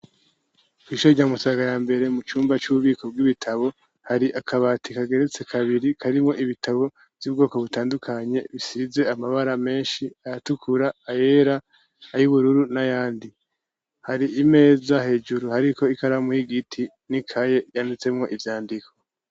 Kw'ishure rya Musaga ya mbere mu cumba c'ububiko bw'ibitabo hari akabati kageretse kabiri karimwo ibitabo vy'ubwoko butandukanye bisize amabara menshi ayatukura ayera ayubururu n'ayandi, hari imeza hejuru hariko ikaramu y'igiti n'ikaye yanditsemwo ivyandiko.